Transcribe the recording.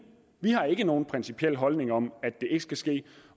vi har ikke nogen principiel holdning om at det ikke skal ske